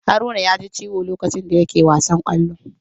Haruna yaji Ciwo lokacin da yake wasan Kwallo.